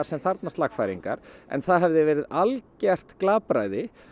sem þarfnast lagfæringar en það hefði verið algjört glapræði